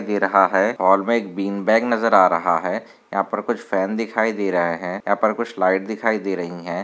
दे रहा है हॉल में बिंग बॅग नजर आ रहा है यहापर कुछ फॅन दिखाई दे रहे है यहापर कुछ लाइट दिखाई दे रही है।